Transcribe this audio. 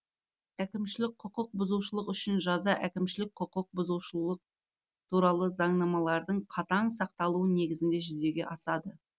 әкімшілік құқық бұзушылық үшін жаза әкімшілік құқық бұзушылық туралы заңнамалардың қатаң сақталуы негізінде жүзеге асады